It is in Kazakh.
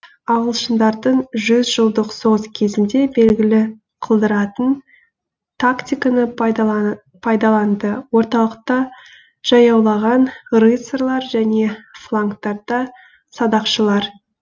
ағылшындардың жүз жылдық соғыс кезінде белгілі қылдыратын тактиканы пайдаланды орталықта жаяулаған рыцарлар және флангтарда садақшылар